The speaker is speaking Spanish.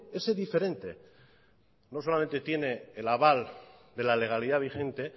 ese diferente no solamente tiene el aval de la legalidad vigente